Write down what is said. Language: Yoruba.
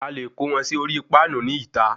A lè kó wọn sí orí Páànù ní ìta